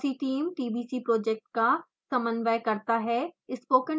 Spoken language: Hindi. fossee टीम tbc प्रोजेक्ट का समन्वय करता है